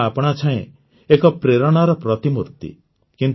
ମା ଆପଣାଛାଏଁ ଏକ ପ୍ରେରଣାର ପ୍ରତିମୂର୍ତି